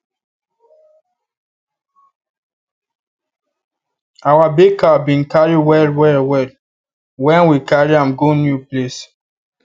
our big cow bin cary well well well well when we carry am go new place